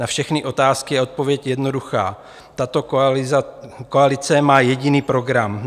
Na všechny otázky je odpověď jednoduchá - tato koalice má jediný program.